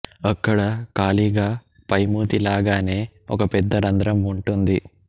అక్కడ ఖాళీగా పైమూతి లాగానె ఒక పెద్ద రంధ్రం వుంటుంది